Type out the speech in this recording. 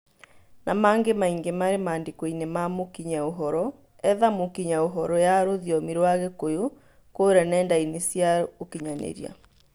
Na mangĩ maingĩ marĩ mandĩkoinĩ ma mũkinyia ũhoro, etha mũkinyia ũhoro ya rũthiomi rwa gĩkũyũ kũria nenda-inĩ cia ũkinyanĩria